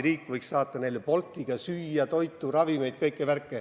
Riik võiks saata neile Boltiga toitu, ravimeid, kõike muud.